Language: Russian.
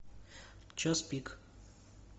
час пик